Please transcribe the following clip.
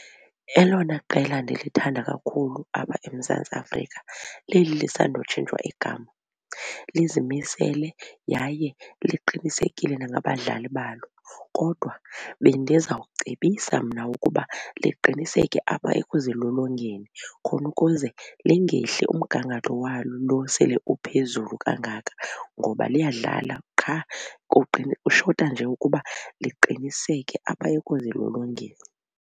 Elona qela ndilithanda kakhulu apha eMzantsi Afrika leli lisandutshintshwa igama. Lizimisele yaye liqinisekile nangabadlali balo kodwa bendiza kucebisa mna ukuba liqiniseke apha ekuzilolongeni khona ukuze lingehli umgangatho walo lo sele uphezulu kangaka ngoba liyadlala qha kushota nje ukuba liqiniseke apha ekuzilolongeni.